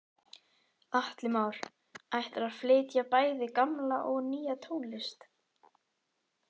Atli Már: Ætlarðu að flytja bæði gamla og nýja tónlist?